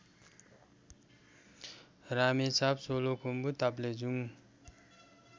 Ramechhap Solukhumbu Taplejung